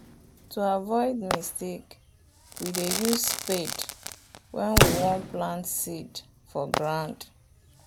to avoid mistake we dey use spade wen we won plant seed for ground.